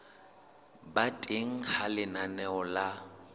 ba teng ha lenaneo la